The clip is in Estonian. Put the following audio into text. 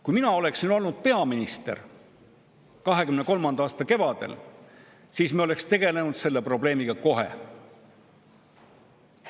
Kui mina oleksin olnud peaminister 2023. aasta kevadel, siis me oleks tegelenud selle probleemiga kohe.